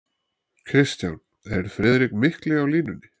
KRISTJÁN: Er Friðrik mikli á línunni?